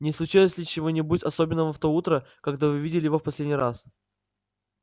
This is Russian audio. не случилось ли чего-нибудь особенного в то утро когда вы видели его в последний раз